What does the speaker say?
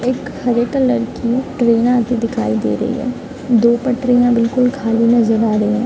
एक हरे कलर की ट्रैन आती दिखाई दे रही है | दो पटरियां बिलकुल खाली नजर आ रही है |